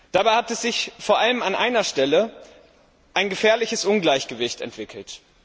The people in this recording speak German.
Dabei hat sich vor allem an einer Stelle ein gefährliches Ungleichgewicht entwickelt.